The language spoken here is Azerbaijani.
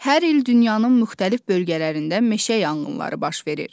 Hər il dünyanın müxtəlif bölgələrində meşə yanğınları baş verir.